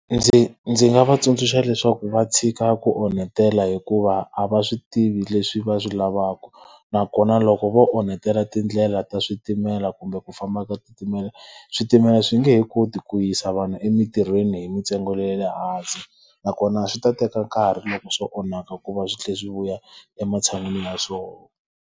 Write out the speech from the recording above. Ndzi ndzi nga va tsundzuxa leswaku va tshika ku onhetela hikuva a va swi tivi leswi va swi lavaka nakona loko vo onhetela tindlela ta switimela kumbe ku famba ka switimela, switimela swi nge he koti ku yisa vanhu emitirhweni hi mintsengo yale hansi. Nakona swi ta teka nkarhi loko swo onhaka ku va swi tlhela swi vuya ematshan'wini ya swona.